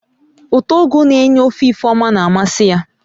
Ụtọ ugu n'enye ofe Ifeoma na-amasị ya